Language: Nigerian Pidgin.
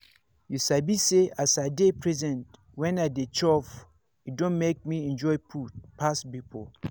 you sabi say as i dey present when i dey chop e don make me enjoy food pass before.